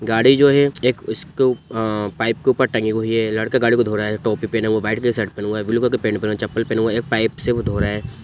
गाड़ी जो है एक उसके उ अ पाइप के ऊपर टंगी हुई है लड़का गाड़ी को धो रहा है टोपी पहने हुआ व्हाइट कलर की शर्ट पहना हुआ है ब्लू कलर की पेंट पहना हुआ है चप्पल पहना हुआ है पाइप से वो धो रहा है।